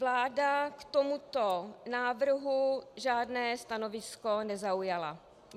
Vláda k tomuto návrhu žádné stanovisko nezaujala.